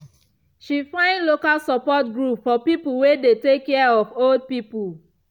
she find local support group for people wey dey take care of old people.